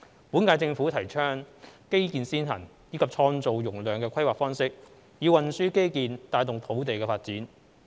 本屆政府提倡"基建先行"及"創造容量"的規劃方式，以運輸基建帶動土地發展。